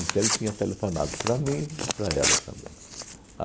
Então, ele tinha telefonado para mim e para ela também.